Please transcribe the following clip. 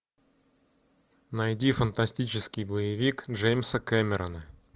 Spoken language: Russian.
найди фантастический боевик джеймса кэмерона